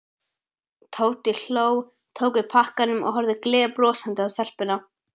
Tóti hló, tók við pakkanum og horfði gleiðbrosandi á stelpuna.